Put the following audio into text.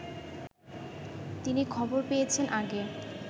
তিনি খবর পেয়েছেন আগে